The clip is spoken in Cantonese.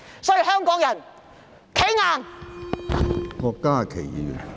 所以，香港人要"企硬"！